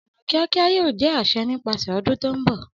Ọna kiakia yoo jẹ aṣẹ nipasẹ ọdun to nbọ.